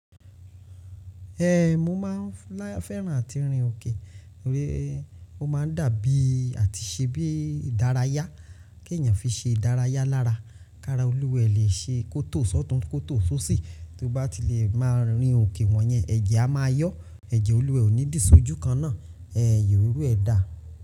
Ẹhn, mo máa fẹ́ran àti rìn òkè, o máa dàbí àti ṣe bí ìdárayá, kí ènìyàn fi ṣe ìdárayá lára, ká ra olúwẹ lè ṣe kótò sọ́tùn kótò sósì, tó bá ti le máa rìn òkè wọ̀nyẹn, ẹ̀jẹ̀ a máa yọ, ẹ̀jẹ̀ olúwẹ ò ní dìí sójú kan náà, ẹ́hì iru ẹ dà.